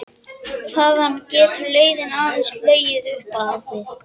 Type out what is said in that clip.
Þaðan getur leiðin aðeins legið upp á við.